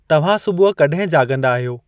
तव्हां सुबुहु कॾहिं जाॻंदा आहियो?